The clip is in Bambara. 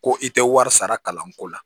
Ko i tɛ wari sara kalanko la